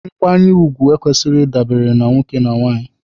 Nkwanyere ugwu ekwesịghị ịdabere na nwoke na nwanyị.